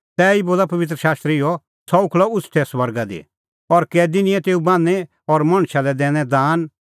तैही बोला पबित्र शास्त्र इहअ सह उखल़अ उछ़टै स्वर्गा दी और कैदी निंयैं तेऊ बान्हीं और मणछा लै दैनै दान